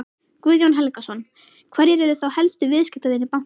Guðjón Helgason: Hverjir eru þá helstu viðskiptavinir bankans?